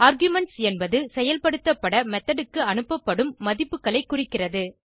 arguments என்பது செயல்படுத்தப்பட method க்கு அனுப்பப்படும் மதிப்புகளை குறிக்கிறது